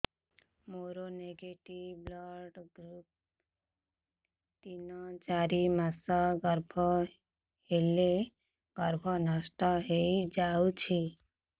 ମୋର negative blood group ତିନ ଚାରି ମାସ ଗର୍ଭ ହେଲେ ଗର୍ଭ ନଷ୍ଟ ହେଇଯାଉଛି